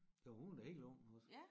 Jo hun er da helt ung også